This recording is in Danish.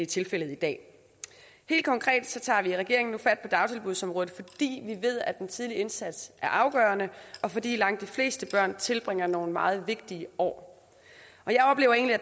tilfældet i dag helt konkret tager vi i regeringen nu fat på dagtilbudsområdet vi ved at den tidlige indsats er afgørende og fordi langt de fleste børn tilbringer nogle meget vigtige år